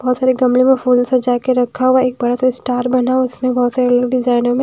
बहुत सारे गमले में फूल सजा के रखा हुआ है एक बड़ा सा स्टार बना उसमें बहुत सारे अलग-अलग डिज़ाइनों में--